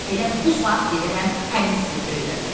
Elə bu saat gedərəm həmin sirri öyrənməyə.